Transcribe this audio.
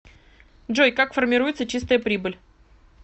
джой как формируется чистая прибыль